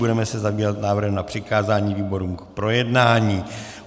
Budeme se zabývat návrhem na přikázání výborům k projednání.